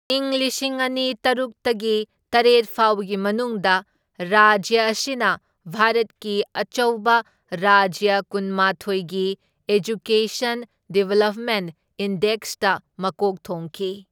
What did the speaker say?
ꯢꯪ ꯂꯤꯁꯤꯡ ꯑꯅꯤ ꯇꯔꯨꯛꯇꯒꯤ ꯇꯔꯦꯠ ꯐꯥꯎꯕꯒꯤ ꯃꯅꯨꯡꯗ ꯔꯥꯖ꯭ꯌ ꯑꯁꯤꯅ ꯚꯥꯔꯠꯀꯤ ꯑꯆꯧꯕ ꯔꯥꯖ꯭ꯌ ꯀꯨꯟꯃꯥꯊꯣꯢꯒꯤ ꯑꯦꯖꯨꯀꯦꯁꯟ ꯗꯤꯕꯦꯂꯞꯃꯦꯟꯠ ꯏꯟꯗꯦꯀꯁꯇ ꯃꯀꯣꯛ ꯊꯣꯡꯈꯤ꯫